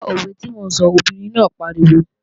Gbó òwe tí mò ń sọ, obìnrin náà pariwo!